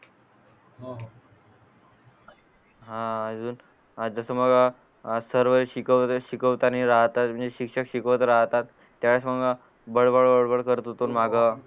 हा जस मला सर्व शिकवणारे शिकवतानी शिक्षक शिकवतच राहतात त्यावेळस मंग